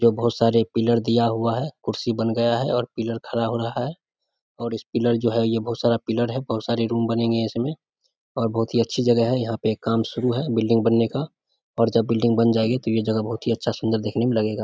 जो बहुत सारे पिलर दिया हुआ है कुर्सी बन गया है और पिलर खड़ा हो रहा है और इस पिलर जो है ये बहुत सारा पिलर है बहुत सारे रूम बनेंगे इसमें और बहुत ही अच्छी जगह है यहाँ पे काम शुरू है बिल्डिंग बनने का और जब बिल्डिंग बन जाएगी तो ये जगह बहुत ही अच्छा सुंदर देखने में लगेगा ।